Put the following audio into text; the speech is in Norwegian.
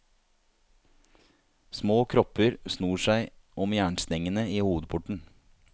Små kropper snor seg om jernstengene i hovedporten.